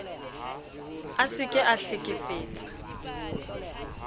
a se ke a hlekefetsa